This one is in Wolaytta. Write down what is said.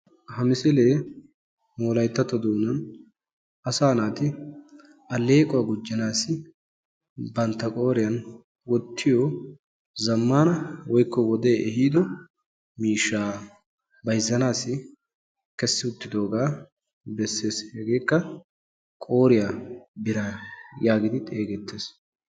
Ha misilee nu wolayttatto doonan asaa naati alleequwa gujjanaassi bantta qooriyan wottiyo zammaana woykko wodee ehiido miishshaa bayzzanaassi kessi uttidoogaa besses. Hegeekka qooriya biraa yaagidi xeegettes.